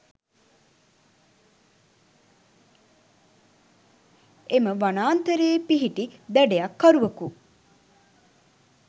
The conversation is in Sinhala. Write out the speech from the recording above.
එම වනාන්තරයේ පිහිටි දඩයක්කරුවකු